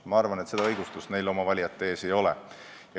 Ma arvan, et seda õigustust neil oma valijate ees ei ole.